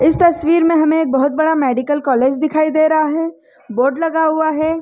इस तस्वीर में हमें बहुत बड़ा मेडिकल कॉलज दिखाई दे रहा है बोर्ड लगा हुआ है।